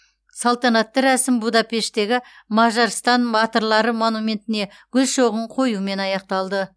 салтанатты рәсім будапешттегі мажарстан батырлары монументіне гүл шоғын қоюмен аяқталды